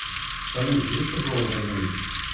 салют есть приколы про деньги